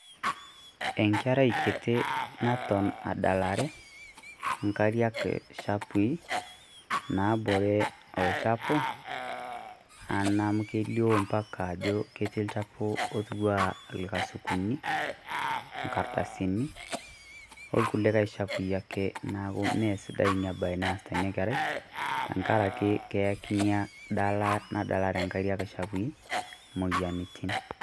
Enkerai kiti naton adalare inkariak shapui naabore olchafu a naa amu kelio mpaka ajo ketii olchafu otiu a irkasukuni, inkardasini, orkulikae shapui ake naaku mee sidai ina bae naaasita ina kerai tenkaraki keyaki inadala nadalare inkariak shapui imoyiaritin.